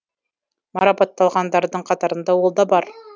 марапатталғандардың қатарында ол да бар